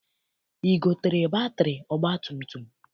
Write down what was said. I gotere batịrị ọgbatumtum?